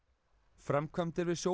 framkvæmdir við